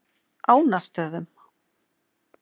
Ánastöðum